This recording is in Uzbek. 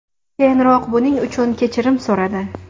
Keyinroq buning uchun kechirim so‘radi.